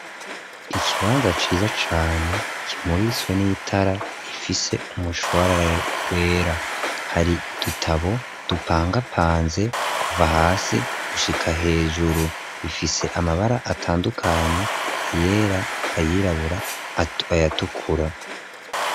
Ikibanza ciza cane kimuriswe n'itara ifise umushwarar wera hari dutabo dupangapanze kuva hasi gushika hejuru bifise amabara atandukanye ayera ayirabura ayatukura.